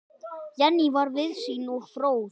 Jenný var víðsýn og fróð.